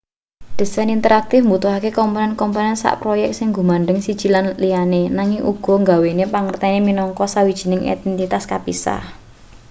disain interaktif mbutuhake komponen komponen saha proyek sing gumandheng siji lan liyane nanging uga nggawe pangertene minangka sawijining entitas kapisah